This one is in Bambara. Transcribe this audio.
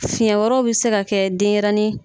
Fiɲɛ wɛrɛw bi se ka kɛ denyɛrɛni